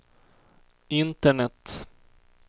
internet